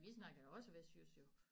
Vi snakker jo også vestjysk jo